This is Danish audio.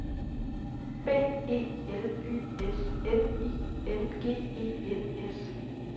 B E L Y S N I N G E N S